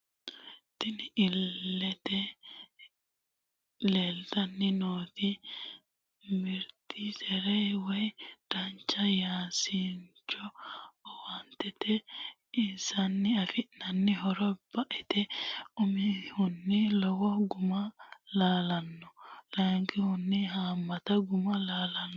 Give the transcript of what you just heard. Tinni illete leelitanni nooti mirixi zere woyi dancha yanasincho awukatote isewini afinanni horro ba'ete umihuni lowo gu'ma lalitano, layikihuni haamata gu'ma amadano.